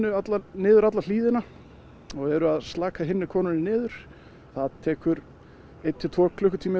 niður alla niður alla hlíðina og eru að slaka hinni konunni niður það tekur einn til tvo klukktíma